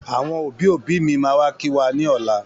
Àwọn òbí òbí mí máa wá kí wa ní ọ̀la.